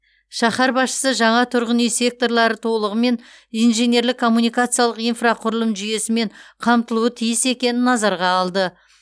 шаһар басшысы жаңа тұрғын үй секторлары толығымен инженерлік коммуникациялық инфрақұрылым жүйесімен қамтылуы тиіс екенін назарға алды